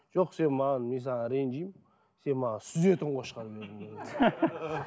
жоқ сен маған мен саған ренжимін сен маған сүзетін қошқар бердің деген ғой